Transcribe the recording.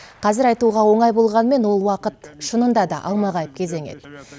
қазір айтуға оңай болғанмен ол уақыт шынында да алмағайып кезең еді